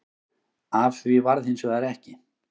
Af því varð hins vegar ekki